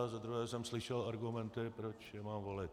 A za druhé jsem slyšel argumenty, proč je mám volit.